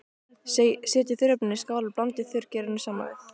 Setjið þurrefnin í skál og blandið þurrgerinu saman við.